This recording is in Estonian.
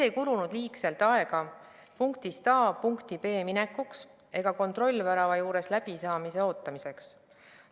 Ei kulunud liigselt aega punktist A punkti B minekuks ega kontrollvärava juures läbisaamise ootamiseks.